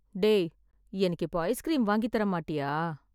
டேய், எனக்கு இப்போ ஐஸ்க்ரீம் வாங்கித் தரமாட்டியா?